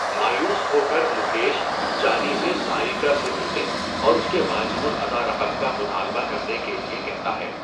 مایوس ہو کر مکیش جانی سے ساریکا سے ملنے اور اس کے واجب الادا رقم کا مطالبہ کرنے کے لئے کہتا ہے۔